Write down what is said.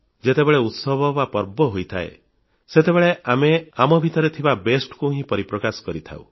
ଯେତେବେଳେ ଉତ୍ସବ ବା ପର୍ବ ହୋଇଥାଏ ସେତେବେଳେ ଆମେ ଆମ ଭିତରେ ଥିବା ଉତ୍କର୍ଷକୁ ହିଁ ପରିପ୍ରକାଶ କରିଥାଉ